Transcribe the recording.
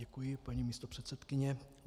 Děkuji, paní místopředsedkyně.